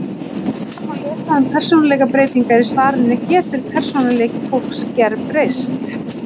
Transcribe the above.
Nánar má lesa um persónuleikabreytingar í svarinu Getur persónuleiki fólks gerbreyst?